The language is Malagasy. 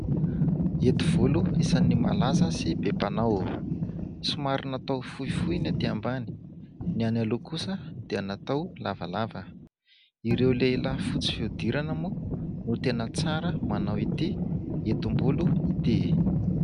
Hety volo isan'ny malaza sy be mpanao. Somary natao fohifohy ny aty ambany, ny aloha kosa dia natao lavalava. Ireo lehilahy fotsy fihodirana moa no tena tsara manao ity hetim-bolo ity.